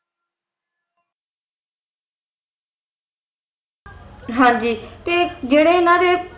ਹਾਂ ਜੀ ਤੇ ਜਿਹੜੇ ਇਨ੍ਹਾਂ ਦੇ